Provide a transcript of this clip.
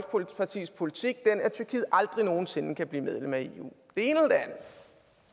folkepartis politik den at tyrkiet aldrig nogen sinde kan blive medlem af